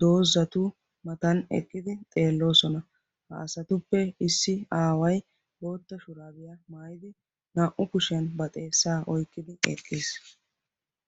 doozzatu mata eqqidi xeelloosona. ha asatuppe issi aaway bootta shurabiay maayyidi naa''u kushoiya ba xeessa oyqqidi eqqiis.